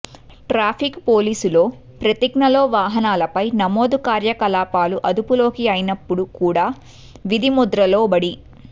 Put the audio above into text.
traffic police లో ప్రతిజ్ఞలో వాహనాలపై నమోదు కార్యకలాపాలు అదుపులోకి అయినప్పుడు కూడా విధి ముద్ర లోబడి